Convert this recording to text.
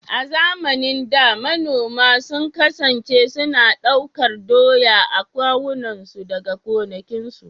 A zamanin da, manoma sun kasance suna ɗaukar doya a kawunansu daga gonakinsu.